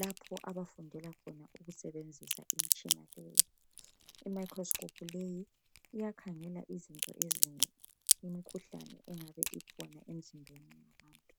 lapho abafundela khona ukusebenzisa imitshina leyi. Imicroscope leyi iyakhangela izinto ezinengi. Imikhuhlane, engabe ikhona emizimbeni wabuntu.